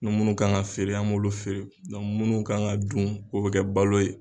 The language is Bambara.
Ni munnu kan ka feere an b'olu feere munnu kan ka dun o bɛ kɛ balo ye.